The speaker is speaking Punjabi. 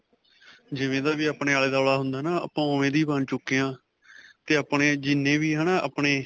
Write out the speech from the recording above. ਜਿਵੇਂ ਦਾ ਵੀ ਅਪਨੇ ਆਲਾ-ਦੁਵਾਲਾ ਹੁੰਦਾ ਨਾ ਆਪਾਂ ਉਂਵੇਂ ਦੇ ਹੀ ਬਣ ਚੁੱਕੇ ਹਾਂ 'ਤੇ ਆਪਣੇ ਜਿੰਨੇ ਵੀ ਆਪਣੇ.